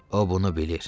O bunu bilir.